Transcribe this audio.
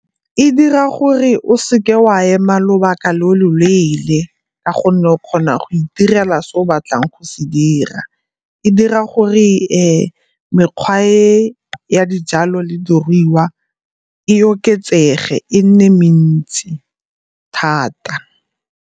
E dira gore o seke wa ema lobaka lo loleele ka gonne o kgona go itirela se o batlang go se dira. E dira gore mekgwa e ya dijalo le diruiwa e oketsege, e nne mentsi thata.